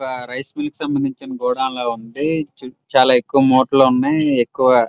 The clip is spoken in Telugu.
ఒక రైసు మిల్ కి సంబందించిన గోడం లా ఉంది చు చాల ఎక్కువ ముఠలు ఉన్నాయ్ ఎక్కువ --